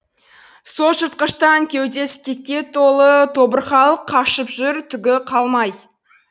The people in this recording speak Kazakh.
солжыртқыштан кеудесі кекке толы тобырхалық қашып жүр түгі қалмай